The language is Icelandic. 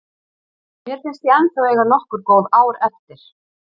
Mér finnst ég ennþá eiga nokkur góð ár eftir.